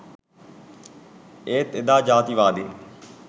ඒත් එදා ජාතිවාදීන්